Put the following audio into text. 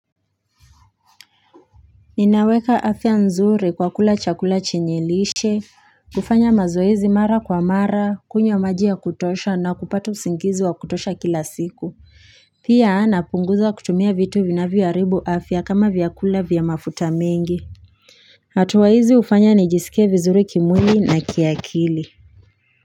Ninaweka afya nzuri kwa kula chakula chenye lishe, kufanya mazoezi mara kwa mara, kunywa maji ya kutosha na kupata usingizi wa kutosha kila siku Pia na punguza kutumia vitu vinavyo haribu afya kama vyakula vya mafuta mengi hatuwa hizi hufanya nijisike vizuri kimwili na kiakili.